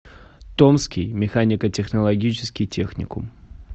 томский механико технологический техникум